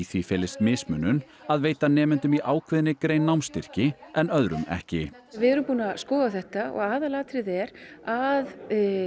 því felist mismunun að veita nemendum í ákveðinni grein námsstyrki en öðrum ekki við erum búin að skoða þetta og aðalatriðið er að